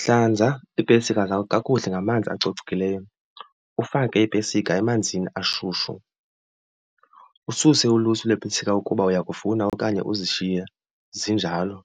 Hlanza iipesika zakho kakuhle ngamanzi acocekileyo, ufake iipesika emanzini ashushu. Ususe ulusu lweepesika ukuba uyakufuna okanye uzishiye zinjalo.